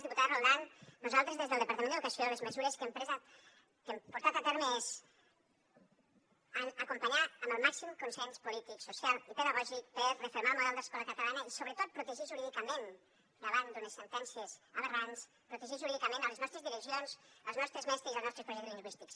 diputada roldán nosaltres des del departament d’educació les mesures que hem portat a terme són acompanyar amb el màxim consens polític social i pedagògic per refermar el model d’escola catalana i sobretot protegir jurídicament davant d’unes sentències aberrants les nostres direccions els nostres mestres i els nostres projectes lingüístics